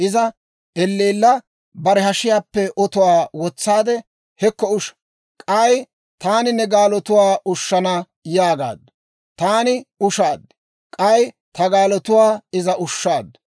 «Iza elleella bare hashiyaappe otuwaa wotsaade, ‹Hekko usha; k'ay taani ne gaalotuwaa ushshana› yaagaaddu. Taani ushaad; k'ay ta gaalotuwaa iza ushshaaddu.